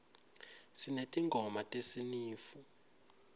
sinetingoma tesinifu